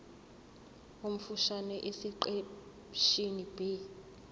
omfushane esiqeshini b